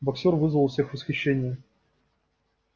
боксёр вызывал у всех восхищение